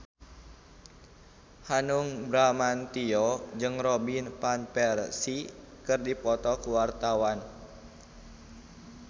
Hanung Bramantyo jeung Robin Van Persie keur dipoto ku wartawan